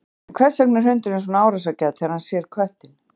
en hvers vegna er hundurinn svona árásargjarn þegar hann sér köttinn